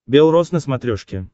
бел рос на смотрешке